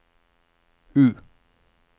U